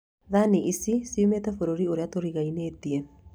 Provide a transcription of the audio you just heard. Thani ici ciumĩte bũrũri ũrĩa tũriganĩtie